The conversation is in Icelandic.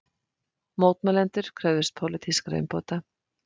Mótmælendurnir kröfðust pólitískra umbóta